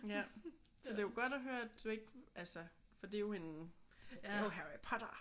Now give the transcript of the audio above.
Ja. Så det er jo godt at høre at det ikke altså for det er en det er jo Harry Potter